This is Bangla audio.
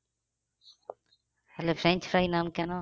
তাহলে french fries নাম কেন?